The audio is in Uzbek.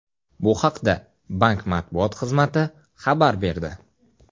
Bu haqda bank matbuot xizmati xabar berdi.